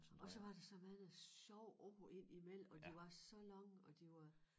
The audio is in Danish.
Og så var der så mange sjove ord indimellem og de var så lange og de var